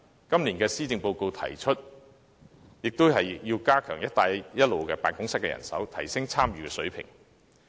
今年施政報告亦提出要加強"一帶一路"辦公室的人手，提升本港的參與程度。